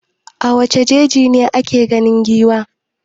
A wane jeji ne ake ganin giwa?